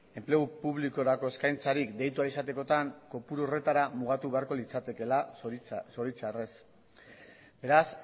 enplegu publikorako eskaintzari deitu ahal izatekotan kopuru horretara mugatu beharko litzatekeela zoritxarrez beraz